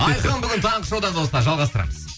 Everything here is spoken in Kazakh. айқын бүгін таңғы шоуда достар жалғастырамыз